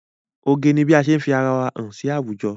Oge ni bí ase fi ara wa hàn sí àwùjọ.